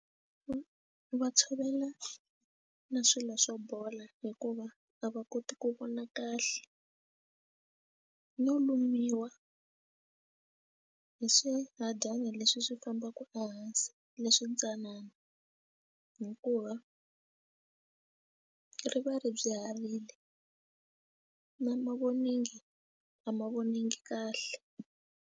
Ku va tshovela na swilo swo bola hikuva a va koti ku vona kahle no lumiwa hi swihadyana leswi swi fambaka ehansi leswi ntsanana hikuva ri va ri byi herile na mavonelo ngi a ma voninga kahle.